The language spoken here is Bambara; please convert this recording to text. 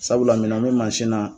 Sabula minɛn me mansi na